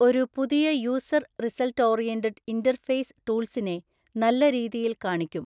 ഒരു പുതിയ user result oriented interface ടൂൾസിനെ നല്ല രീതിയിൽ കാണിക്കും.